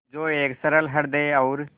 जो एक सरल हृदय और